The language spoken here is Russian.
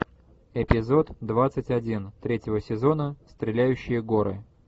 эпизод двадцать один третьего сезона стреляющие горы